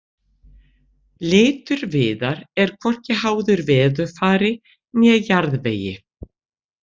Litur viðar er hvorki háður veðurfari né jarðvegi.